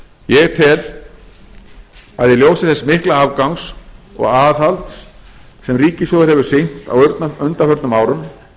ég tel að í ljósi þess mikla afgangs og aðhalds sem ríkissjóður hefur sýnt á undanförnum árum